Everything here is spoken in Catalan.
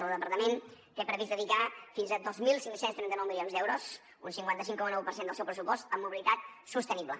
el departament té previst dedicar fins a dos mil cinc cents i trenta nou milions d’euros un cinquanta cinc coma nou per cent del seu pressupost a mobilitat sostenible